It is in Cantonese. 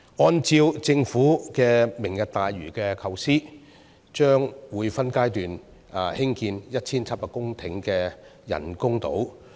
按照政府的"明日大嶼"構思，將會分階段興建 1,700 公頃的人工島。